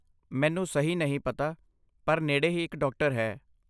ਮੈਨੂੰ ਸਹੀ ਨਹੀਂ ਪਤਾ, ਪਰ ਨੇੜੇ ਹੀ ਇੱਕ ਡਾਕਟਰ ਹੈ।